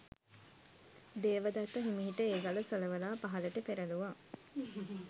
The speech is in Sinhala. දේවදත්ත හිමිහිට ඒ ගල සොලවලා පහලට පෙරළුවා.